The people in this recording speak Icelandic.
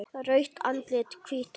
Rautt andlit, hvítt hár.